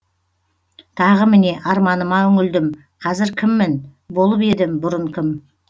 тағы міне арманыма үңілдім қазір кіммін болып едім бұрын кім